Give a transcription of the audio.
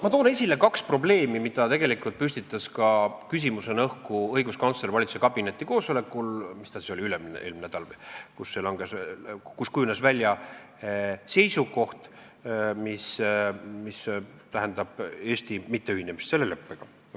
Ma toon esile kaks probleemi, mille tegelikult püstitas küsimusena ka õiguskantsler valitsuskabineti koosolekul, mis oli vist üle-eelmisel nädalal, kus kujunes välja seisukoht, mis tähendas Eesti mitteühinemist selle leppega.